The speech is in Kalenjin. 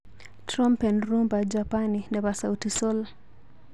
Trompen rhumba Japani nebo Sauti Sol.